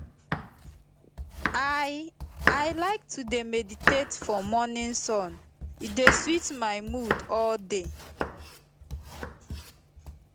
i i like to dey meditate for morning sun e dey sweet my mood all day